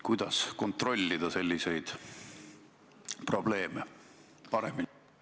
Kuidas selliseid olukordi paremini kontrollida?